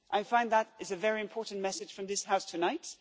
I find that this is a very important message from this House tonight.